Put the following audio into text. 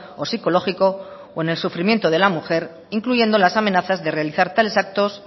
o psicológico o en el sufrimiento de la mujer incluyendo las amenazas de realizar tales actos